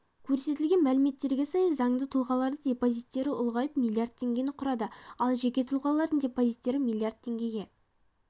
көрсетілген мәліметтерге сай заңды тұлғалардың депозиттері ұлғайып млрд теңгені құрады ал жеке тұлғалардың депозиттері млрд теңгеге